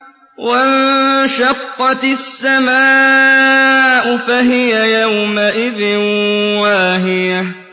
وَانشَقَّتِ السَّمَاءُ فَهِيَ يَوْمَئِذٍ وَاهِيَةٌ